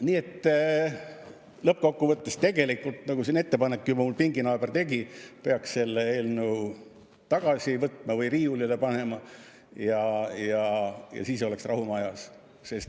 Nii et lõppkokkuvõttes, nagu siin mu pinginaaber juba ettepaneku tegi, peaks selle eelnõu tagasi võtma või riiulile panema ja siis oleks rahu majas.